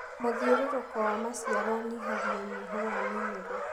Mũthiũrũrũko wa maciaro ũnyihagia ũnyihu wa minerũ.